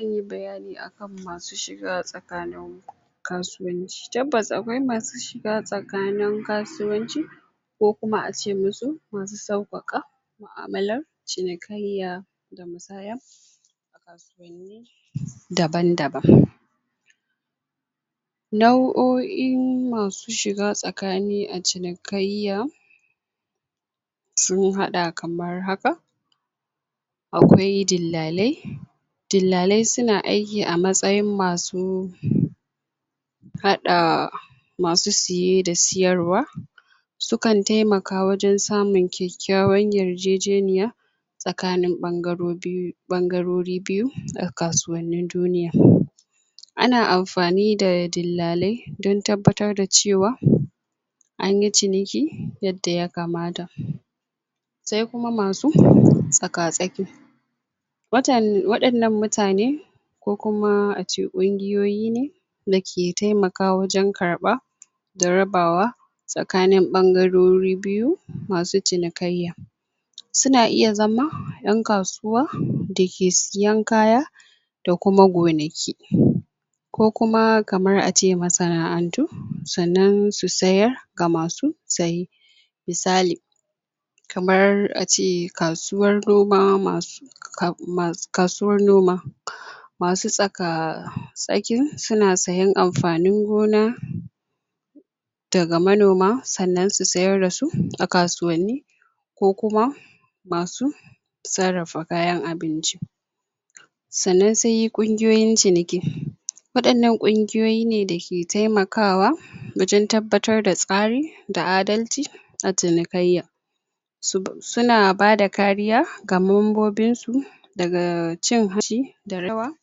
zan yi bayani a kan masu shiga tsakanin kasuwanci tabbas akwai masu shiga tsakanin kasuwanci ko kuma a ce musu masu sauƙaƙa mu'amalar cinikayya daban daban nau'oin masu shiga tsakani a cinikayya sun haɗa kamar haka akwai dillalai dillalai suna aiki a matsayin masu haɗa masu siye da siyarwa su kan taimaka wajen samun kyakyawar yarjejeniya tsakanin ɓangaro biyu ɓangarori biyu a kasuwannin duniya a na amfani da dillalai dan tabbatar da cewa anyi ciniki yadda yakamata sai kuma masu tsaka tsaki {um] waɗannan mutane ko kuma a ce ƙungiyoyi ne da ke taimaka wajen karɓa da rabawa tsakanin ɓangarori biyu masu cinikayya suna iya zama 'yan kasuwa da ke siyan kaya da kuma gonaki? ko kuma kamar a ce masana'antu sannan su sayar ga masu saye misali kamar a ce kasuwar noma masu? kasuwar noma masu tsaka tsakin suna sayen amfanin gona daga manoma sannan su sayar dasu a kasuwanni ko kuma masu sarrafa kayan abinci sannan sai ƙungiyoyin ciniki waɗannan ƙungiyoyi ne da ke taimakawa wajen tabbatar da tsari da adalci a cinikayya suna bada kariya ga mambobinsu daga cin hanci da rawa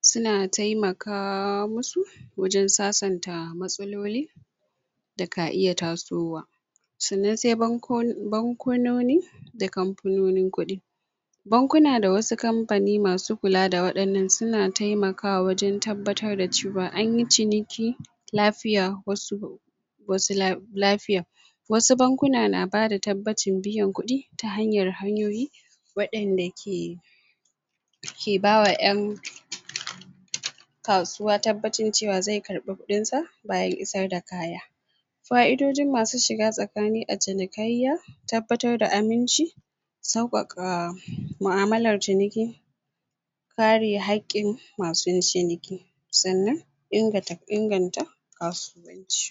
suna taimaka musu wajen sasanta matsaloli da ka iya tasowa sannan sai bankunoni da kamfanonin kuɗi bankuna da wasu kamfani masu kula da waɗannan suna taimaka wa wajen tabbatar da cewa an yi ciniki lafiya wasu wasu um lafiya wasu bankuna na bada tabbacin biyan kuɗi ta hanyar hanyoyi waɗanda ke ke bawa 'yan tabbacin cewa zai karɓi kuɗinsa bayan isar da kaya fa'idojin masu shiga tsakani a cinikayya tabbatar da aminci sauƙaƙa mu'amalar ciniki kare haƙƙin masu ciniki sannan inganta um inganta kasuwanci